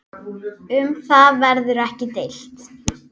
Um það verður ekki deilt.